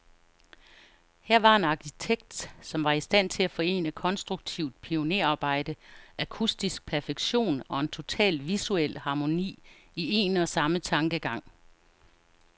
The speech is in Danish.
Her var en arkitekt, som var i stand til at forene konstruktivt pionerarbejde, akustisk perfektion, og en total visuel harmoni, i en og samme tankegang.